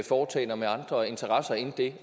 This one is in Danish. foretagender med andre interesser end det